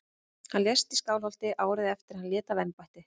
Hann lést í Skálholti árið eftir að hann lét af embætti.